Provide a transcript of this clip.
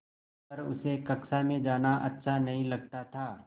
पर उसे कक्षा में जाना अच्छा नहीं लगता था